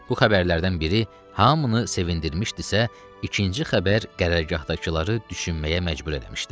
Bu xəbərlərdən biri hamını sevindirmişdisə, ikinci xəbər qərargahdakıları düşünməyə məcbur eləmişdi.